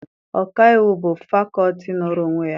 Ọkaiwu bụ fakọọti nọọrọ onwe ya